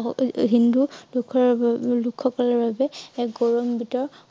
অ~অ হিন্দু লোক~লোক সকলৰ বাবে এক গৌৰৱান্বিত